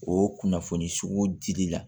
O kunnafoni sugu dili la